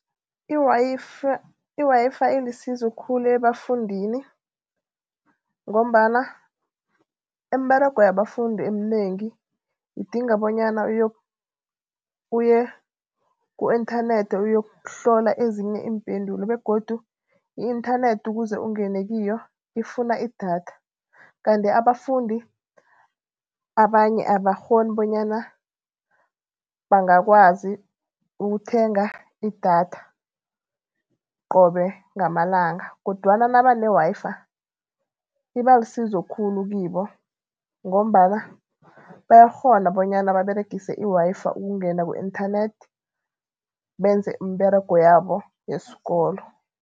I-Wi-Fi ilisizo khulu ebafundini ngombana imiberego yabafundi eminengi idinga bonyana uye ku-inthanethi uyokuhlola ezinye iimpendulo begodu i-inthanethi ukuze ungene kiyo ifuna idatha. Kanti abafundi abanye abakghoni bonyana bangakwazi ukuthenga idatha qobe ngamalanga kodwana nabane-Wi-Fi iba lisizo khulu kibo ngombana bayakghona bonyana baberegise i-Wi-Fi ukungena ku-internet benze umberego yabo yesikolo.